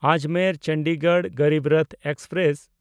Ajmer-Chandigarh Garib Rath express